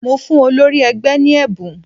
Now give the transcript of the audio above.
Mo fún olórí ẹgbẹ́ ní ẹ̀bùn